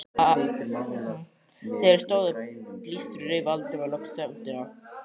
Þegar þeir stóðu á blístri rauf Valdimar loks þögnina.